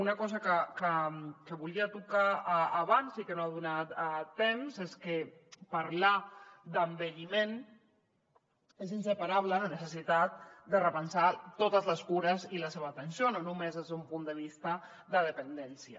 una cosa que volia tocar abans i que no he tingut temps és que parlar d’envelliment és inseparable de la necessitat de repensar totes les cures i la seva atenció no només des d’un punt de vista de dependència